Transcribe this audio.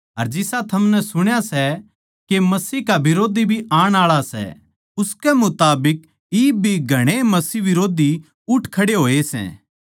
झूठ्ठा कौन सै सिर्फ वो जो यीशु नै मसीह होण तै नाटै सै अर मसीह का बिरोधी वोए सै जो पिता परमेसवर का अर बेट्टै का इन्कार करै सै